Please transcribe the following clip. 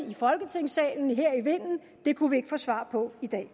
i folketingssalen det kunne vi ikke få svar på i dag